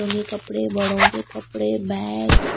कपड़े बड़ों के कपड़े बैग्स --